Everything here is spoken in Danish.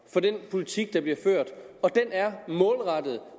for den politik der bliver ført og den er målrettet